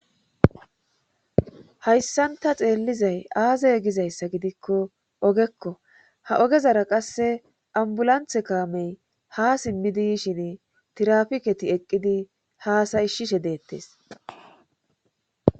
hayssanta xeellizay aaze gizayssa gidikko ogekko ha ogezara qasse ambulanthe kaamey ha simmidi ishin tirafiketi eqqidi haasayishshishe deettes